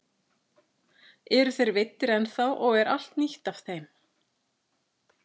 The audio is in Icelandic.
Eru þeir veiddir ennþá og er allt nýtt af þeim?